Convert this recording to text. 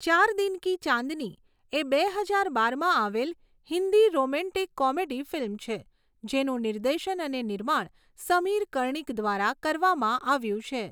ચાર દિન કી ચાંદની એ બે હજાર બારમાં આવેલ હિન્દી રોમેન્ટિક કોમેડી ફિલ્મ છે જેનું નિર્દેશન અને નિર્માણ સમીર કર્ણિક દ્વારા કરવામાં આવ્યું છે.